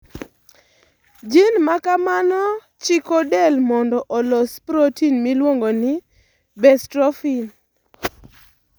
Gene ma kamano chiko del mondo olos protein miluongo ni bestrophin.